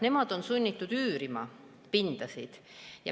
Nemad on sunnitud oma elamispinda üürima.